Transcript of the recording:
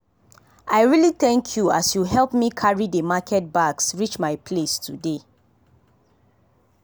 i really thank you as you help me carry dey market bags reach my place today.